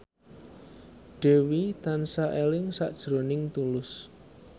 Dewi tansah eling sakjroning Tulus